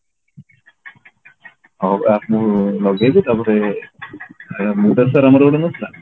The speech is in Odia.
ହଁ ପା ମୁଁ ଲଗେଇବି ତାପରେ ଆମର ଗୋଟେ ନଥିଲା